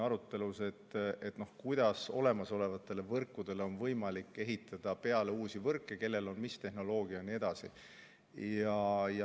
Arutasime, kuidas olemasolevatele võrkudele on võimalik ehitada peale uusi võrke, kellel on mis tehnoloogia jne.